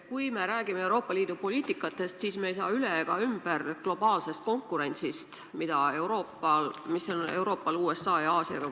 Kui me räägime Euroopa Liidu poliitikatest, siis ei saa me üle ega ümber globaalsest konkurentsist, Euroopa konkureerimisest USA ja Aasiaga.